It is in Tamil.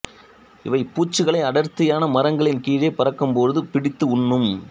இவை பூச்சிகளை அடர்த்தியான மரங்களின் கீழே பறக்கும்போது பிடித்தும் உண்ணும்